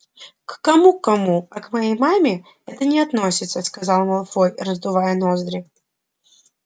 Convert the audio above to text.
к кому к кому а к моей маме это не относится сказал малфой раздувая ноздри